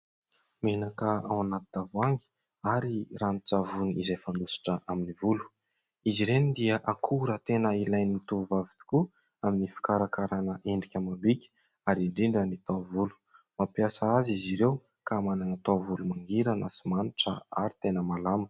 Menaka ao anaty tavoahangy ary ranon-tsavony izay fanosotra amin'ny volo, izy ireny dia akora tena ilain'ny tovovavy tokoa amin'ny fikarakarana endrika amam-bika ary indrindra ny taovolo, mampiasa azy izy ireo ka manana taovolo mangirana sy manitra ary tena malama.